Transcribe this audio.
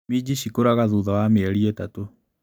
Minji cikũraga thutha wa mĩeri ĩtatũ.